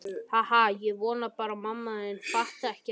Ha ha ha- ég vona bara að mamma fatti ekki.